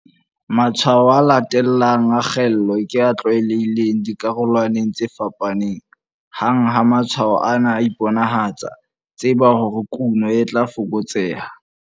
Matshwao a latelang a kgaello ke a tlwaelehileng dikarolwaneng tse fapaneng. Hang ha matshwao ana a iponahatsa, tseba hore kuno e tla fokotseha.